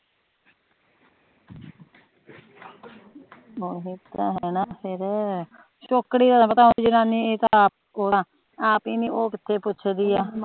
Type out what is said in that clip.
ਓਹੀ ਤਾ ਹੈ ਨਾ ਫੇਰ